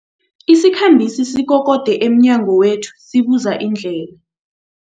Isikhambi sikokode emnyango wethu sibuza indlela.